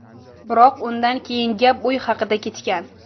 Biroq undan keyin gap uy haqida ketgan.